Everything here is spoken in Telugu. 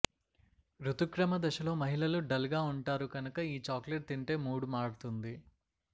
రుతుక్రమ దశలో మహిళలు డల్ గా వుంటారు కనుక ఈ చాక్లెట్ తింటే మూడ్ మారుతుంది